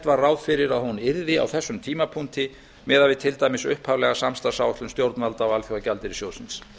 var ráð fyrir að hún yrði á þessum tímapunkti miðað við til dæmis upphaflega samstarfsáætlun stjórnvalda og alþjóðagjaldeyrissjóðsins